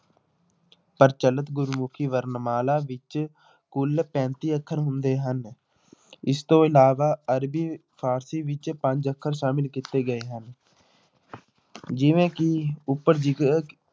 ਪ੍ਰਚਲਿਤ ਗੁਰਮੁਖੀ ਵਰਣਮਾਲਾ ਵਿੱਚ ਕੁੱਲ ਪੈਂਤੀ ਅੱਖਰ ਹੁੰਦੇ ਹਨ ਇਸ ਤੋਂ ਇਲਾਵਾ ਅਰਬੀ ਫ਼ਾਰਸੀ ਵਿੱਚ ਪੰਜ ਅੱਖਰ ਸ਼ਾਮਿਲ ਕੀਤੇ ਗਏ ਹਨ ਜਿਵੇਂ ਕਿ ਉੱਪਰ